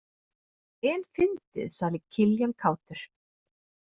En fyndið, sagði Kiljan kátur.